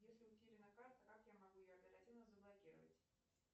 если утеряна карта как я могу ее оперативно заблокировать